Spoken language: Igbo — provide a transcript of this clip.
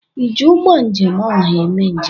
ịji ụgbọ njem ọha eme njem?